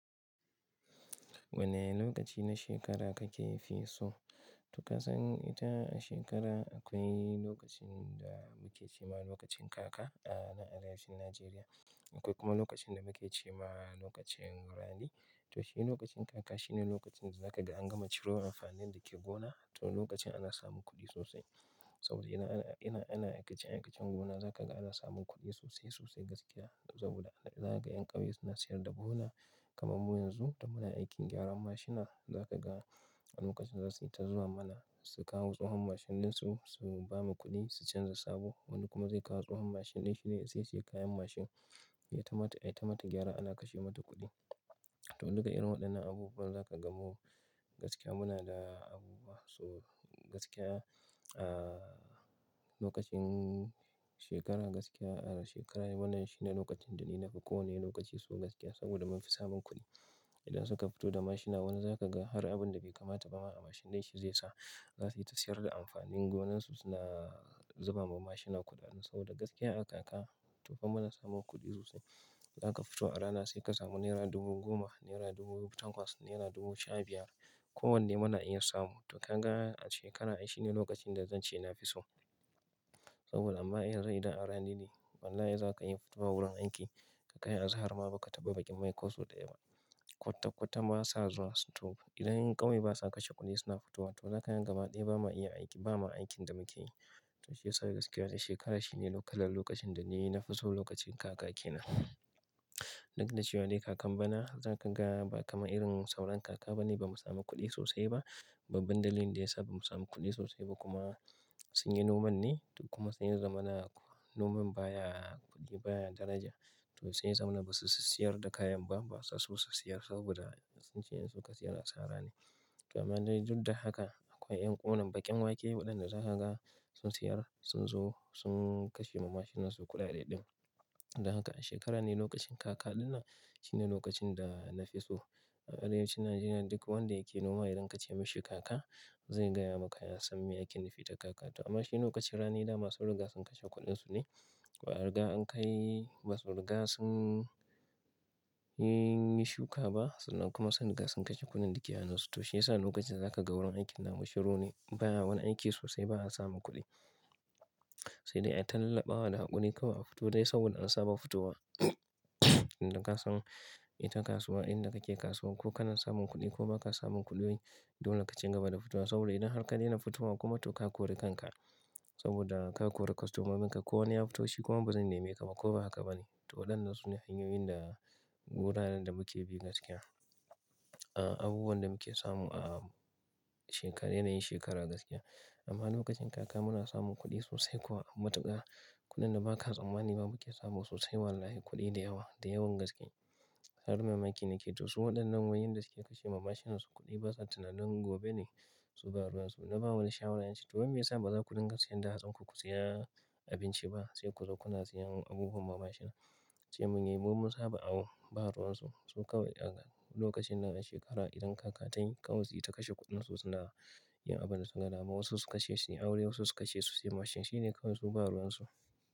Wane lokaci na shekara kake fi so? To ka san ita a shekara akwai lokacin da muke ce ma lokacin kaka a arewacin Najeriya. Akwai kuma lokacin da muke ce ma lokacin rani. To shi ne lokacin kaka, shine lokacin da zaka ga an gama ciro amfanin da ke gona. To lokacin ana samun kuɗi sosai. Saboda ina, ina, ana aikacen, aikacen gona zaka ga ana samun kuɗi sosai sosai gaskiya. Saboda zaga yan ƙauye suna siyar da buhuna kamar muyi yanzu da muna aikin gyaran mashina zaka ga a lokacin za su yi ta zuwa mana su kawo tsohon mashin din su, su bamu kuɗi, su canza sabo. Wani kuma zai kawo tsahon mashin din shi ne zai saye kayan mashin. Itama, ta aita mata gyara ana kashe mata kuɗi. To duka irin waɗannan abubuwa zaka gan mu gaskiya muna da abubuwa. So gaskiya a lokacin shekara gaskiya a shekara wannan shine lokacin da ni na fi ko wane lokaci so gaskiya saboda mun fi samun kuɗi. Idan suka fito da mashina wani zaka ga har abin da bai kamata ba ma a mashin din shi zai sa. Za su yi ta siyar da amfanin gonan su suna zuba ma mashina kuɗaɗe. Saboda gaskiya a kaka tofa muna samun kuɗi sosai. Zaka fito a rana sai ka samu nera dubu goma, naira dubu tankwas, naira dubu sha biyar. Ko wanne muna iya samu. To kanga a shekara ai shine lokacin da zance na fi so. Saboda amma iyanzu, idan a rani ne wallahi zaka iya fitowa wurin aiki. Ka kai azahar ma ba ka taɓa baƙin mai ko soɗe ba. Kwata-kwata ba sa zuwa. To idan yan ƙauye basa kashe kuɗi suna fitowa to zakayi gama dai ba ma iya aiki, ba ma aikin da muke yi. To shi yasa gaskiya shekara shi ne lallai lokacin da ni na fi so lokacin kaka kenan. Duk da cewa dai kakan bana zaka ga ba kama irin sauran kaka bane bamu samu kuɗi sosai ba. Babba dalilin da yasa bamu samu kuɗi sosai ba kuma sun yi noman ne. Kuma sun yi zamana noman baya kuɗi, baya daraja. To saiya zamana basu siyar da kayan ba, basa so su siyar saboda sun ce in su ka siyar a sara ne. To amma dai duk da haka akwai ƴan ƙunan baƙin wake waɗanda za ka ga sun siyar, sun zo sun kashe ma mashinan su kuɗaɗe ɗin. Da haka a shekara ne lokacin kaka ɗin nan shine lokacin da na fi so. A arewacin Najeriya duk wanda yake noma idan ka ce mishi kaka zai gaya maka ya san me aikin nufi da kaka. To amma shi ne lokacin rani dama sun riga sun kashe kuɗin su ne. Baa riga an kai masu rigar sun yi shuka ba sannan kuma son riga sun kashe kuɗin da ke a hannun su. To shi yasa lokacin zaka ga wurin aikin namu shiru ne. Ba wani aiki sosai ba a samu kuɗi. Sai dai a ta lallaɓa wa da haƙuri kawai a fito dai saboda an saba fitowa. Inda ka san ita kasuwa inda kake kasuwa ko kana samun kuɗi ko baka samun kuɗi. Dole kaci gaba da fitowa saboda idan har ka daina fitowa kuma to ka kore kanka. Saboda ka kore kostomomin ka ko wani ya fito shi kuma bazan nemi ka ba ko ba haka ba ne. To waɗannan su ne hanyoyin da wuraren da muke bi gaskiya. A abubuwan da muke samu a shekara yana yin shekara gaskiya. Amma lokacin kaka muna samun kuɗi sosai kuwa matuƙa kuɗin da baka tsammani ba muke samu sosai wallahi kuɗi da yawa da yawan gaske. Har mamaki ne ke to su waɗannan wai yanda suke kashe ma mashinan su kuɗi basa tunanin gobe ne su baro su. Na ba wani shawara nace to wai me yasa baza kudinga siyar da hatsinku ku saya abinci ba sai ku zo kuna siyan abubuwan ma mashina. Ce mun yai mu mun saba awo ba ruwan su. Su kawai a lokacin nan a shekara idan kaka tayi kawai su yi ta kashe kuɗin su suna yin abin da su ka gama. Wasu su kashe su yi aure wasu su kashe su siya mashin. Shi ne kawai su baruwan su.